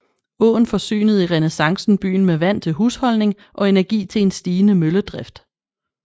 Åen forsynede i renæssancen byen med vand til husholdning og energi til en stigende mølledrift